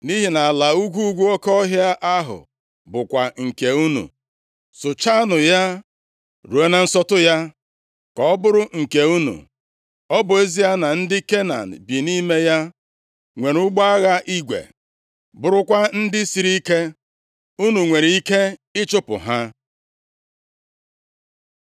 nʼihi na ala ugwu ugwu oke ọhịa ahụ bụkwa nke unu. Sụchaanụ ya, ruo na nsọtụ ya, ka ọ bụrụ nke unu. Ọ bụ ezie na ndị Kenan bi nʼime ya nwere ụgbọ agha igwe, + 17:18 \+xt Dit 20:1\+xt* bụrụkwa ndị sịrị ike, unu nwere ike ịchụpụ ha.”